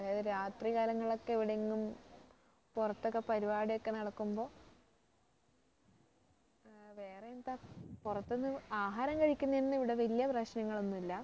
അതായത് രാത്രി കാലങ്ങളൊക്കെ ഇവിടെ എങ്ങും പുറത്ത് ഒക്കെ പരിപാടി ഒക്കെ നടക്കുമ്പോ ഏർ വേറെ എന്താ പുറത്ത്ന്ന് ആഹാരം കഴിക്കുന്നതിന് ഇവിടെ വലിയ പ്രശ്നങ്ങൾ ഒന്നും ഇല്ല